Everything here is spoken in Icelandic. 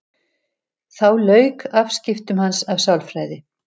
Þá lauk afskiptum hans af sálfræði.